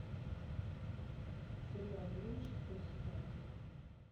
сериал гримм шестой сезон